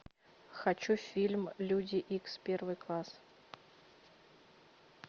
хочу фильм люди икс первый класс